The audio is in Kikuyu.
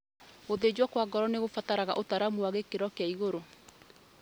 Gũthĩnjwo kwa ngoro nĩkũrabatara ũtaramu wa gĩkĩro kĩa igũrũ